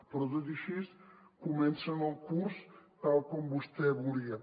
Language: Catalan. però tot i així comencen el curs tal com vostè volia